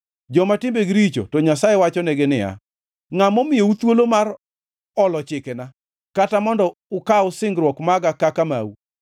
Joma timbegi richo to Nyasaye wachonegi ni: “Ngʼa momiyou thuolo mar olo chikena kata mondo ukaw singruok maga kaka mau?